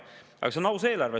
Aga see on aus eelarve.